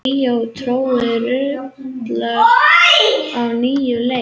Ríó tríóið raular á nýjan leik